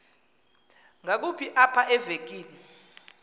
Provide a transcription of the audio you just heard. ngakumbi apha evekini